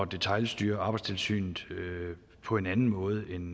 detailstyre arbejdstilsynet på en anden måde end